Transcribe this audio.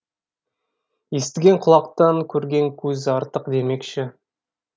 естіген құлақтан көрген көз артық демекші